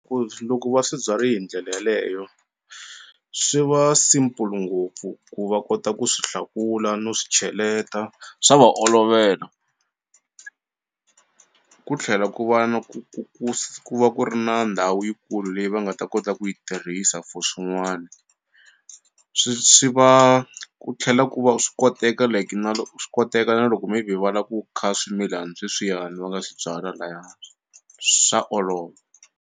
Futhi loko va swi byari hi ndlela yeleyo swi va simple ngopfu ku va kota ku swi hlakula no swi cheleta swa va olovela ku tlhela ku va na ku ku ku ku va ku ri na ndhawu yikulu leyi va nga ta kota ku yi tirhisa for swin'wani swi swi va ku tlhela ku va swi koteka like na swi koteka na loko maybe va la ku kha swimilana sweswiyani va nga swi byala laya hansi swa olova.